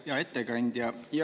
Hea ettekandja!